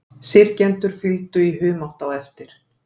Syrgjendurnir fylgdu í humátt eftir.